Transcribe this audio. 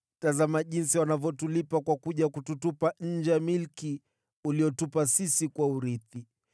tazama jinsi wanavyotulipa kwa kuja kututupa nje ya milki uliyotupa sisi kuwa urithi.